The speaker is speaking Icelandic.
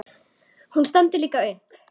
Hún stendur líka upp.